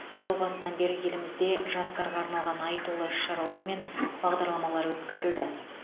жыл басынан бері елімізде жастарға арналған айтулы іс шаралар мен бағдарламалар өткізілді